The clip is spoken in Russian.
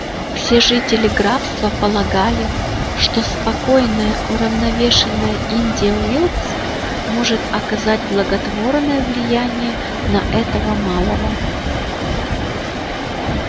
все жители графства полагали что спокойная уравновешенная индия уилкс может оказать благотворное влияние на этого малого